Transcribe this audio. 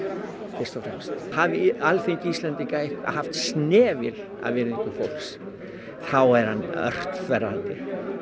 fyrst og fremst hafi Alþingi Íslendinga haft snefil af virðingu fólks þá er hann ört þverrandi